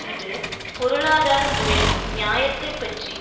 இது பொருளாதார முறையின் நியாயத்தைப் பற்றி